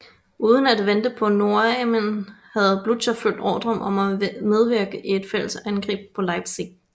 Uden at vente på nordarmeen havde Blücher fulgt ordren om at medvirke i et fælles angreb på Leipzig